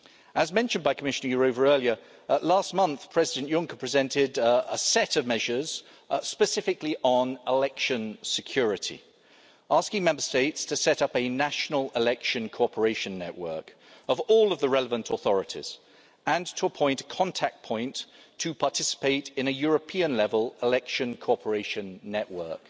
As mentioned by Commissioner Jourová earlier, last month President Juncker presented a set of measures specifically on election security, asking Member States to set up a national election cooperation network of all of the relevant authorities and to appoint a contact point to participate in a European level election cooperation network.